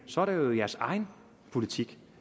så er det jo jeres egen politik